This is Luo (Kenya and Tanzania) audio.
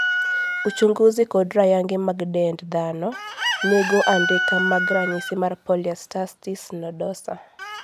uchunguzi kod rayangi mag dend dhano nigo andika mag ranyisi mar polyarstertis nodosa